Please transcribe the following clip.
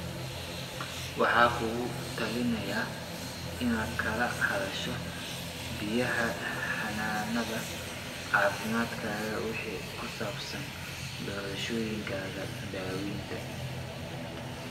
Waxaan kugula talineynaa inaad kala hadasho bixiyaha xanaanada caafimaadkaaga wixii ku saabsan doorashooyinkaaga daawaynta.